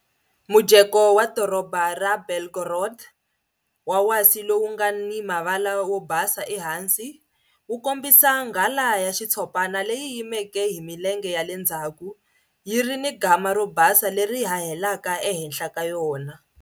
Mujeko wa doroba ra Belgorod, wa wasi lowu nga ni mavala wo basa ehansi, wu kombisa nghala ya xitshopana leyi yimeke hi milenge ya le ndzhaku, yi ri ni gama ro basa leri hahelaka ehenhla ka yona.